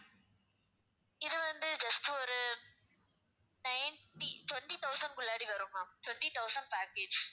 இது வந்து just ஒரு ninety~ twenty thousand குள்ளாடி வரும் ma'am twenty thousand package